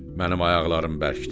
Mənim ayaqlarım bərkdir.